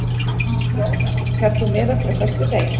Ronald, ferð þú með okkur á föstudaginn?